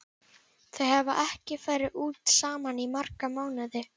Þau hafa ekki farið út saman í marga mánuði.